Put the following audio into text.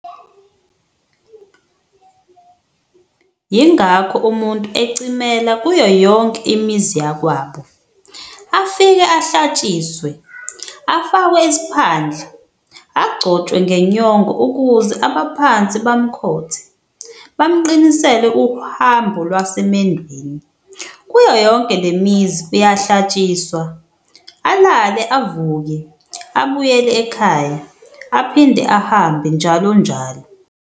Yingakho umuntu ecimela kuyo yonke imizi yakwabo, afike ahlatshiswe, afakwe isiphandla, agcotshwe ngenyongo ukuze abaphansi bamkhothe, bamqinisele uhambo lwasemendweni. Kuyo yonke lemizi uyahlatshiswa, alale, avuke, abuyele ekhaya, aphinde ahambe njalonjalo.